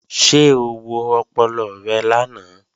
Ṣé o wo ọpọlọ rẹ lánàá?